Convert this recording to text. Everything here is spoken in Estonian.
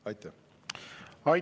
Aitäh!